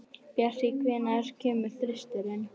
Bjartey, hvenær kemur þristurinn?